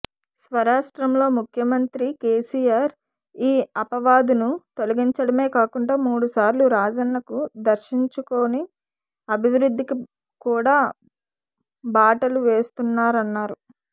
స్వరాష్ట్రంలో ముఖ్యమంత్రి కేసీఆర్ ఈ ఆపవాదును తొలగించడమే కాకుండా మూడు సార్లు రాజన్నను దర్శించుకొని అభివృద్ధికి కూడా బాటలు వేస్తున్నారన్నారు